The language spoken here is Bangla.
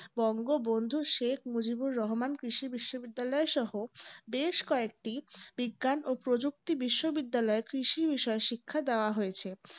বঙ্গবন্ধু শেখ মুজিবুর রহমান কৃষি বিশ্ববিদ্যালয় সহ বেশ কয়েকটি বিজ্ঞান ও প্রযুক্তি বিশ্ববিদ্যালয় কৃষি বিষয়ে শিক্ষাদান দেওয়া হয়েছে।